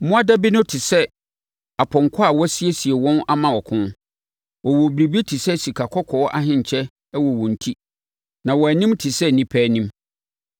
Mmoadabi no te sɛ apɔnkɔ a wɔasiesie wɔn ama ɔko. Wɔwɔ biribi te sɛ sikakɔkɔɔ ahenkyɛ hyɛ wɔn ti. Na wɔn anim te sɛ nnipa anim.